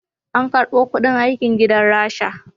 An karbo kuɗin aikin gidan rasha